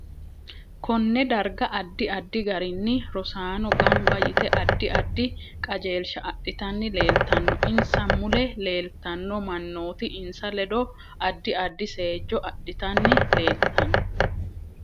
Konne darga addi addi garinni rosaano ganba yite addi addi kajeelisha adhitanni leeltanno insa mule leeltanno manooti insa ledo addi addi seejo adhitanni leeltanno